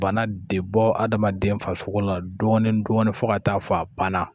Bana de bɔ hadamaden farisogo la dɔɔnin dɔɔnin fo ka taa fɔ a banna